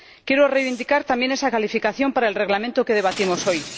Quiero reivindicar también esa calificación para el reglamento que debatimos hoy.